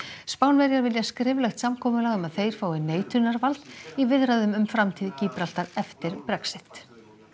Spánverjar vilja skriflegt samkomulag um að þeir fái neitunarvald í viðræðum um framtíð eftir Brexit